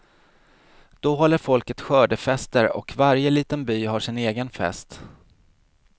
Då håller folket skördefester och varje liten by har sin egen fest.